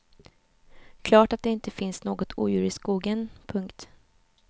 Klart att det inte finns något odjur i skogen. punkt